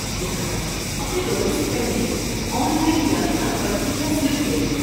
لہذا، اپنے دورے سے پہلے آن لائن یاترا پرچی یا سلپ لے لیں۔